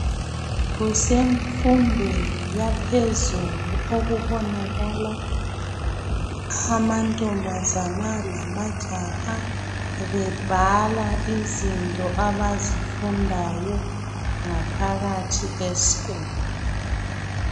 Kusemfundweni yaphezulu okubonakala amantombazane lamajaha bebhala izinto abazifundayo ngaphakathi esikolo